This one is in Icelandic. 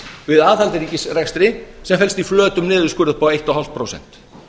við aðhald í ríkisrekstri sem felst í flötum niðurskurði upp á fimmtán prósent